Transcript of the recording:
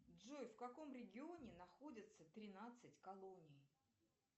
джой в каком регионе находится тринадцать колоний